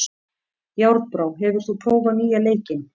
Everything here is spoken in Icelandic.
Járnbrá, hefur þú prófað nýja leikinn?